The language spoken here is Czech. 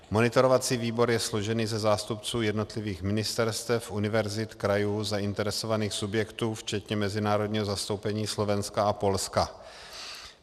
Monitorovací výbor je složen ze zástupců jednotlivých ministerstev, univerzit, krajů, zainteresovaných subjektů včetně mezinárodního zastoupení Slovenska a Polska.